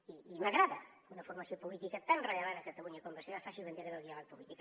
i m’agrada que una formació política tan rellevant a catalunya com la seva faci bandera del diàleg polític